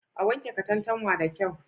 A wanke katantanwa da kyau.